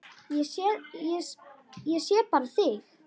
Ég sé bara þig!